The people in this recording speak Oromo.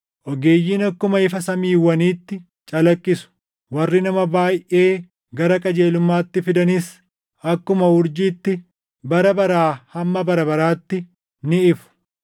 Ogeeyyiin akkuma ifa samiiwwaniitti calaqqisu; warri nama baayʼee gara qajeelummaatti fidanis akkuma urjiitti bara baraa hamma bara baraatti ni ifu.